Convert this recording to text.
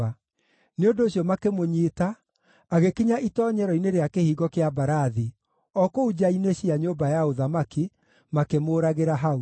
Nĩ ũndũ ũcio makĩmũnyiita, agĩkinya itoonyero-inĩ rĩa Kĩhingo kĩa Mbarathi, o kũu nja-inĩ cia nyũmba ya ũthamaki, makĩmũũragĩra hau.